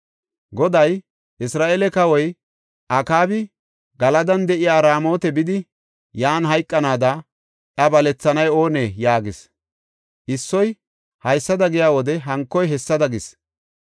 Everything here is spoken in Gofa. Goday, ‘Isra7eele kawoy Akaabi Galadan de7iya Raamota bidi yan hayqanaada iya balethanay oonee?’ ” yaagis. Issoy, “Haysada giya wode hankoy hessada” gis.